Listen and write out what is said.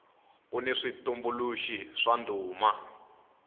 kuni switumbuluxi swa ndhuma